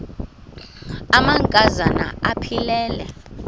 amanka zana aphilele